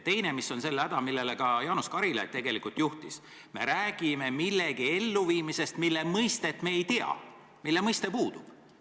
Teine asi, mis on selle häda, millele ka Jaanus Karilaid tegelikult tähelepanu juhtis: me räägime millegi elluviimisest, aga selle mõiste sisu me ei tea, see mõiste puudub.